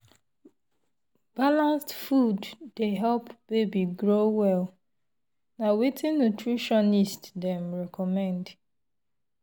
balanced food dey help baby grow well na wetin nutritionist dem recommend.